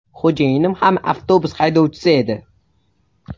Xo‘jayinim ham avtobus haydovchisi edi.